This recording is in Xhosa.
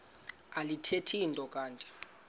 alithethi nto kanti